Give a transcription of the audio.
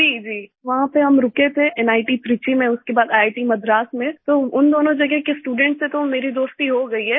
जी जी वहाँ पर हम रुके थे नित Trichyमें उसके बाद ईआईटी मद्रास में तो उन दोनों जगह के स्टूडेंट्स से तो मेरी दोस्ती हो गई है